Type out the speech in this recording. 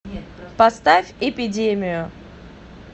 поставь эпидемию